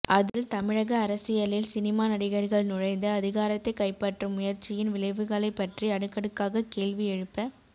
அதில் தமிழக அரசியலில் சினிமா நடிகர்கள் நுழைந்து அதிகாரத்தை கைப்பற்றும் முயற்சியின் விளைவுகளை பற்றி அடுக்கடுக்காகக் கேள்வி எழுப